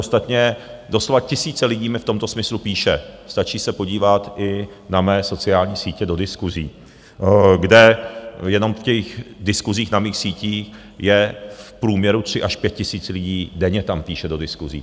Ostatně doslova tisíce lidí mi v tomto smyslu píší, stačí se podívat i na mé sociální sítě do diskuzí, kde jenom v těch diskuzích na mých sítích je v průměru tři až pět tisíc lidí denně - tam píší do diskuzí.